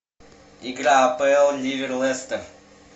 игра апл ливер лестер